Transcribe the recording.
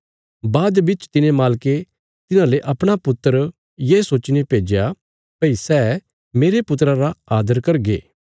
बाद बिच तिने मालके तिन्हाले अपणा पुत्र ये सोच्चीने भेज्या भई सै मेरे पुत्रा रा आदर करगे